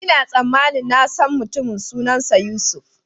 Ina tsammanin na san mutumin, sunansa Yusuf.